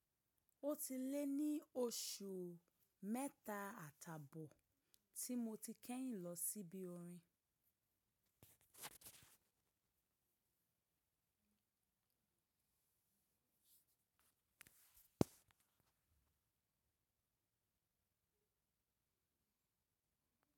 Ó ti lé ní oṣù mẹ́ta àtàbọ̀ tí mo ti kẹ́yìn lọ sí ibi orin.